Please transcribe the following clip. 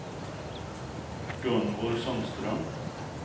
Gunvor Sundström